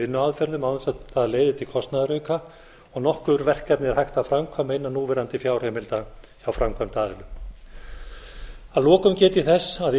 vinnuaðferðum án þess að það leiði til kostnaðarauka og nokkur verkefni er hægt að framkvæma innan núverandi fjárheimilda af framkvæmdaaðilum að lokum get ég þess að í